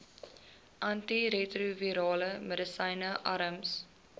antiretrovirale medisyne arms